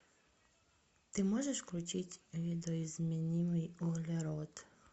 ты можешь включить видоизмененный углерод